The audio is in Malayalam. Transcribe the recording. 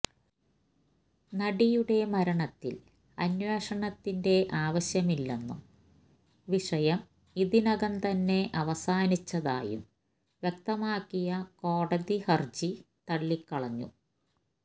നടിയുടെ മരണത്തിൽ അന്വേഷണത്തിന്റെ ആവശ്യമില്ലെന്നും വിഷയം ഇതിനകം തന്നെ അവസാനിച്ചതായും വ്യക്തമാക്കിയ കോടതി ഹർജി തള്ളിക്കളഞ്ഞു